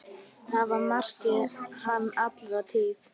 Það markaði hann alla tíð.